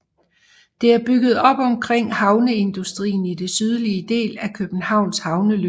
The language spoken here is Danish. Det er bygget op omkring havneindustrien i den sydlige del af Københavns havneløb